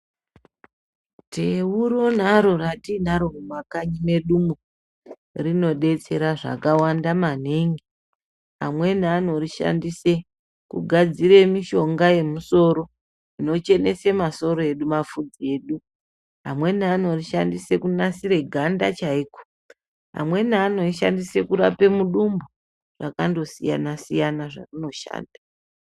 Teu ronaro ratinaro mumakanyi medumwo rinobetsera zvakawanda maningi. Amweni anorishandise kugadzire mishonga yemusoro inochenese masoro edu mavhudzi edu. Amweni anorishandise kunasire ganda chaiko amweni anorishandise kurapa mudumbu zvakandosiyana-siyana, zvarinoshanda.